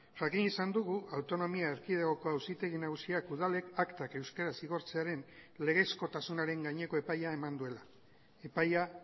jakin izan dugu autonomia erkidegoko auzitegi nagusiak udalek aktak euskaraz igortzearen legezkotasunaren gaineko epaia eman duela epaia